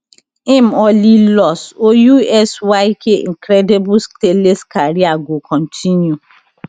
im only loss or usyk incredible stainless career go continue